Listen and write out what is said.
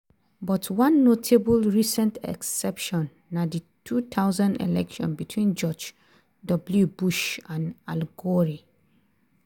but one notable recent exception na di 2000 election between george w bush and al gore.